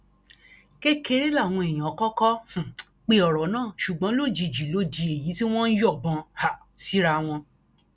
kékeré làwọn èèyàn kọkọ um pe ọrọ náà ṣùgbọn lójijì ló di èyí tí wọn ń yọbọn um síra wọn